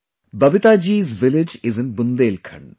Babita ji's village is in Bundelkhand